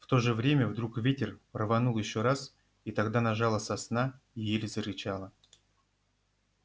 в то же время вдруг ветер рванул ещё раз и тогда нажала сосна и ель зарычала